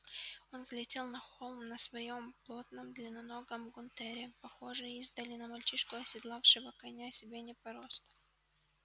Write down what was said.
он взлетел на холм на своём плотном длинноногом гунтере похожий издали на мальчишку оседлавшего коня себе не по росту